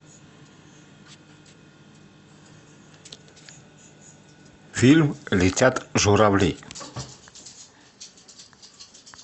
фильм летят журавли